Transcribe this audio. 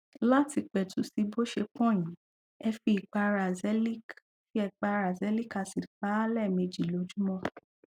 láti pètù sí bó ṣe pọn yìí ẹ fi ìpara azelaic fi ìpara azelaic acid pa á lẹẹmejì lójúmọ